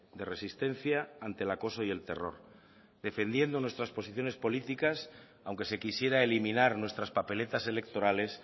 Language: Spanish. de resistencia ante el acoso y el terror defendiendo nuestras posiciones políticas aunque se quisiera eliminar nuestras papeletas electorales